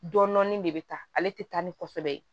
Dɔnni de bɛ taa ale tɛ taa ni kɔsɛbɛ ye